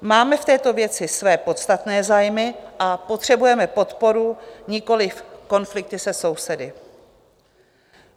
Máme v této věci své podstatné zájmy a potřebujeme podporu, nikoli konflikty se sousedy.